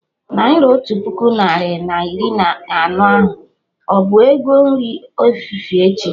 Naira otu puku narị na iri anọ ahụ, ọbụ ego nri efifie echi?